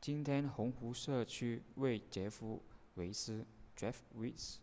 今天红湖社区为杰夫韦斯 jeff weise